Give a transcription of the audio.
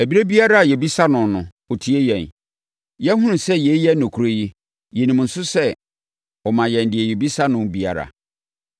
Ɛberɛ biara a yɛbisa no no, ɔtie yɛn. Yɛahunu sɛ yei yɛ nokorɛ yi, yɛnim nso sɛ ɔma yɛn deɛ yɛbisa no biara.